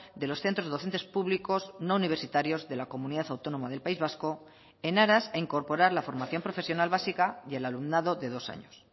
de los centros docentes públicos no universitarios de la comunidad autónoma del país vasco en aras a incorporar la formación profesional básica y el alumnado de dos años